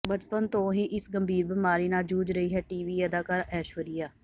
ਬਚਪਨ ਤੋਂ ਹੀ ਇਸ ਗੰਭੀਰ ਬੀਮਾਰੀ ਨਾਲ ਜੂਝ ਰਹੀ ਹੈ ਟੀਵੀ ਅਦਾਕਾਰਾ ਐਸ਼ਵਰਿਆ